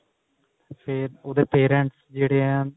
ਫ਼ੇਰ ਉਹਦੇ parents ਜਿਹੜੇ ਆ